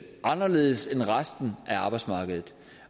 anderledes end resten af arbejdsmarkedet